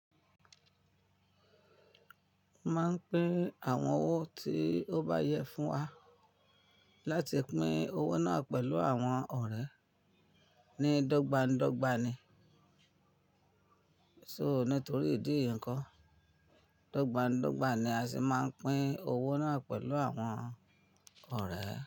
A máa ń pín àwọn owó tí ó bá yẹ fún wa láti pín owó náà pẹ̀lú àwọn ọ̀rẹ́ ní dọ́gbańdọ́gba ni. So nítorí ìdí yìí nko, dọ́gbańdọ́gba ni a sì máa ń pín owó náà pẹ̀lú àwọn ọ̀rẹ́.